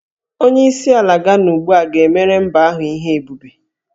Onyeisi ala Gana ugbu a ga-emere mba ahụ ihe ebube